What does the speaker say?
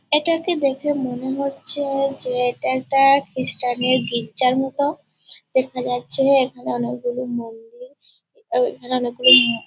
এটাকে দেখে মনে হচ্ছে যে এটা একটা খ্রিস্টানের গির্জার মতো । দেখা যাচ্ছে এখানে অনেকগুলি মন্দির এখানে অনেকগুলি ম --